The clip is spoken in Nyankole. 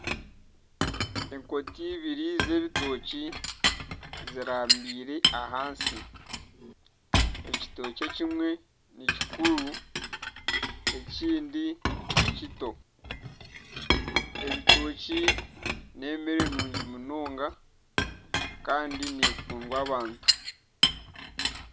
Enkota ibiri z'ebitookye zirambiire ahansi ekitookye kimwe nikikuru ekindi nikito, ebitookye n'ebyokurya birungi munonga Kandi nekundwa abantu